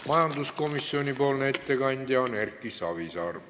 Majanduskomisjoni ettekandja on Erki Savisaar.